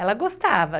Ela gostava.